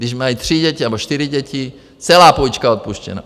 Když mají tři děti nebo čtyři děti, celá půjčka odpuštěna.